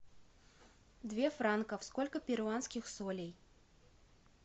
две франков сколько перуанских солей